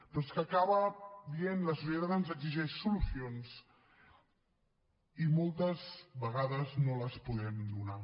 però és que acaba dient la societat ens exigeix solucions i moltes vegades no les podem donar